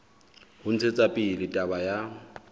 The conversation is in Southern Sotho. ho ntshetsa pele taba ya